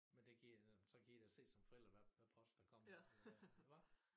Men det kan i da så kan i da se som forældre hvad hvad post der kommer eller hvad hva